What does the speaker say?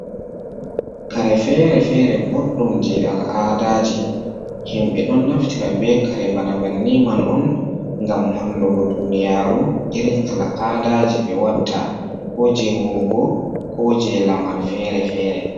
Kare fere-fere boddum je al'adaji himbe, don naftira be kare bana banni man on ngam hollugo duniyaru irin al'adaaji be watta ko je womugo ko je lamar fere-fere.